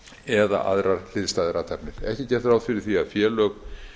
eða aðrar hliðstæðar athafnir ekki er gert ráð fyrir því að félög